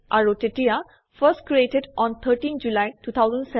আৰু তেতিয়া first created on 13থ জুলি 2007